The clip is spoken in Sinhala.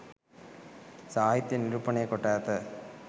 සාහිත්‍යයේ නිරූපණය කොට ඇත.